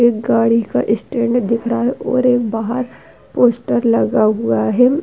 एक गाड़ी का स्टैंड दिख रहा है और एक बाहर पोस्टर लगा हुआ है।